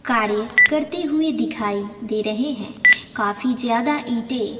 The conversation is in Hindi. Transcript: कार्य करते हुए दिखाई दे रहे हैं काफी ज्यादा ईंटें--